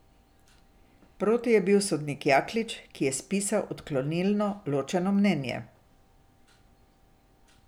Proti je bil sodnik Jaklič, ki je spisal odklonilno ločeno mnenje.